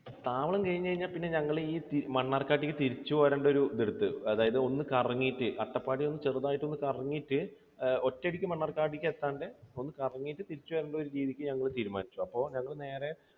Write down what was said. താവളം കഴിഞ്ഞ് കഴിഞ്ഞാൽ പിന്നെ ഞങ്ങൾ ഈ മണ്ണാർക്കാടേക്ക് തിരിച്ചു പോരണ്ട ഒരു ഇതെടുത്തു. അതായത് ഒന്ന് കറങ്ങിയിട്ട്, അട്ടപ്പാടി ഒന്ന് ചെറുതായിട്ട് ഒന്ന് കറങ്ങിയിട്ട് ഏർ ഒറ്റയടിക്ക് മണ്ണാർക്കാടേക്ക് എത്താണ്ട് ഒന്ന് കറങ്ങിയിട്ട് തിരിച്ചു വരേണ്ട ഒരു രീതിക്ക് ഞങ്ങൾ തീരുമാനിച്ചു. അപ്പോൾ ഞങ്ങൾ നേരെ